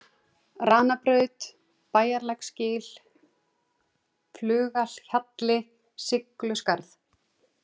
Ranabraut, Bæjarlæksgil, Flugahjalli, Sigluskarð